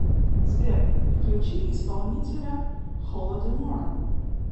сбер включи исполнителя холодемора